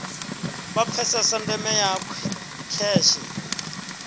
vha pfesese ndeme ya kheshe